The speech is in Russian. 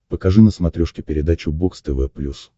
покажи на смотрешке передачу бокс тв плюс